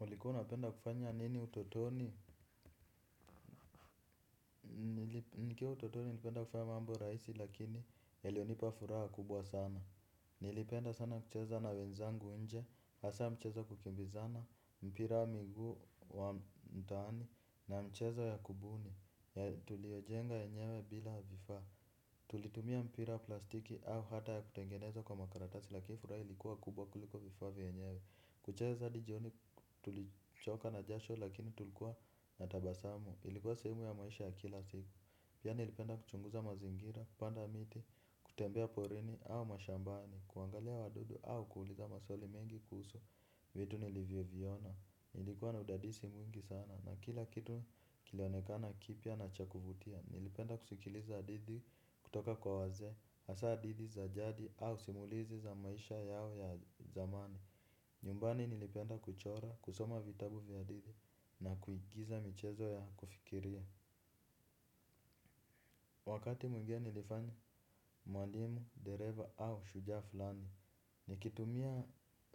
Ulikuwa unapenda kufanya nini utotoni? Nikiwa utotoni nilipenda kufanya mambo rahisi lakini yaliyonipa furaha kubwa sana. Nilipenda sana kucheza na wenzangu nje, hasa mchezo wa kukimbizana, mpira miguu wa mtanii na mchezo ya kubuni. Tuliojenga yenyewe bila vifaa. Tulitumia mpira plastiki au hata ya kutengeneza kwa makaratasi lakini furaha ilikuwa kubwa kuliko vifaa vyenyewe. Kucheza hadi jioni tulichoka na jasho lakini tulikuwa na tabasamu. Ilikuwa sehemu ya maisha ya kila siku. Pia nilipenda kuchunguza mazingira, kupanda miti, kutembea porini au mashambani kuangalia wadudu au kuuliza maswali mengi kuhusu vitu nilivyoviona nilikuwa na udadisi mwingi sana na kila kitu kilionekana kipya na cha kuvutia. Nilipenda kusikiliza hadithi kutoka kwa wazee hasa hadithi za jadi au simulizi za maisha yao ya zamani. Nyumbani nilipenda kuchora, kusoma vitabu vya hadithi, na kuigiza michezo ya kufikiria. Wakati mwingine nilifanya, mwalimu, dereva au shujaa fulani. Nikitumia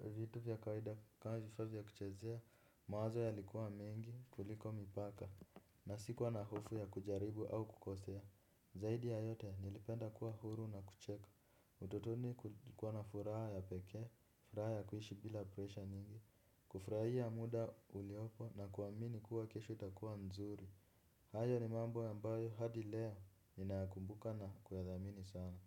vitu vya kawida ka vifaa vya kuchezea, mawazo yalikuwa mengi, kuliko mipaka. Na sikuwa na hofu ya kujaribu au kukosea. Zaidi ya yote nilipenda kuwa huru na kucheka. Utotoni kulikuwa na furaha ya pekee, furaha ya kuishi bila presha nyingi. Kufurahia muda uliopo na kuamini kuwa kesho itakuwa nzuri. Hayo ni mambo ambayo hadi leo ninakumbuka na kuyathamini sana.